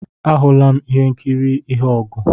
Ahụla m ihe nkiri ihe ogu